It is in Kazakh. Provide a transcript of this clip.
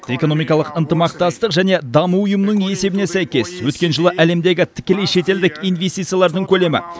экономикалық ынтымақтастық және даму ұйымының есебіне сәйкес өткен жылы әлемдегі тікелей шетелдік инвестициялардың көлемі